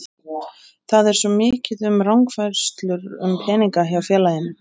Það er svo mikið um rangfærslur um peninga hjá félaginu.